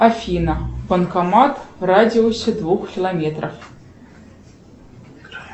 афина банкомат в радиусе двух километров